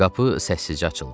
Qapı səssizcə açıldı.